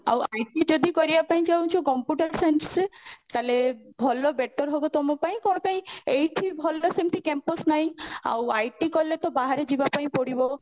ଆଉ IT ଯଦି କରିବା ପାଇଁ ଚାହୁଁଚ computer science ରେ ତାହେଲେ ଭଲ better ହବ ତମ ପାଇଁ କଣ ପାଇଁ ଏଇଠି ଭଲ ସେମିତି campus ନାହିଁ ଆଉ IT କଲେ ତ ବାହରେ ଯିବା ପାଇଁ ପଡିବ